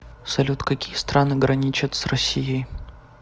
салют какие страны граничат с россией